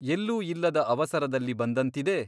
ಎಲ್ಲೂ ಇಲ್ಲದ ಅವಸರದಲ್ಲಿ ಬಂದಂತಿದೆ ?